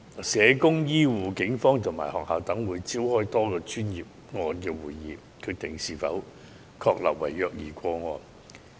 社工、醫護、警方和學校等會召開多個專業個案會議，決定是否確立為虐兒個案。